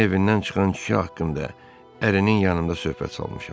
Onun evindən çıxan kişi haqqında ərinin yanında söhbət salmışam.